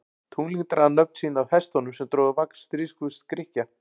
Tunglin draga nöfn sín af hestunum sem drógu vagn stríðsguðs Grikkja.